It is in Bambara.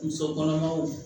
Muso kɔnɔmaw